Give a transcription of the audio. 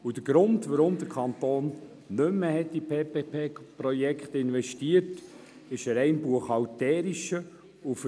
Der Grund, weshalb der Kanton nicht mehr in PPP-Projekte investieren wollte, ist rein buchhalterischer Natur.